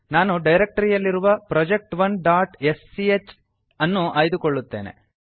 ನಾನು ಡೈರೆಕ್ಟರಿಯಲ್ಲಿರುವ project1ಸ್ಚ್ project ೧ dot S C H ಅನ್ನು ಆಯ್ದುಕೊಳ್ಳುತ್ತೇನೆ